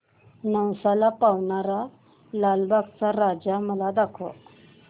नवसाला पावणारा लालबागचा राजा मला दाखव